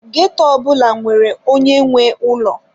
Ghetto ọ bụla nwere onye nwe ụlọ.